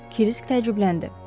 Kirisk təəccübləndi.